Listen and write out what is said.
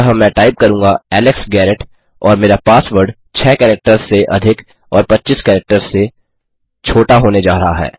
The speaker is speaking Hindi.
अतः मैं टाइप करूँगा एलेक्स गैरेट और मेरा पासवर्ड 6 कैरेक्टर्स से अधिक और 25 कैरेक्टर्स से छोटा होने जा रहा है